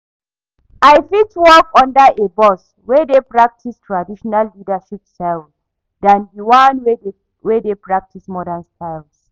I fit work under a boss wey dey practice traditional leadership styles than di one wey dey practice modern styles.